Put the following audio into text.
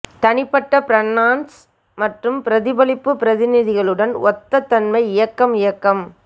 தனிப்பட்ட பிரனான்ஸ் மற்றும் பிரதிபலிப்பு பிரநிதிகளுடன் ஒத்த தன்மை இயக்கம் இயக்கம்